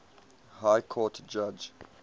high court judge